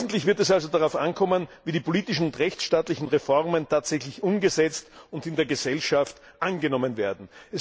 Wesentlich wird es also darauf ankommen, wie die politischen und rechtsstaatlichen Reformen tatsächlich umgesetzt und in der Gesellschaft angenommen werden.